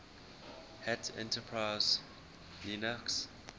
hat enterprise linux